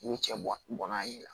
N'u cɛ n'a ye